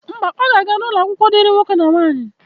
Mba, ọ ga-aga n'ụlọakwụkwọ dịrị nwoke na nwaanyị.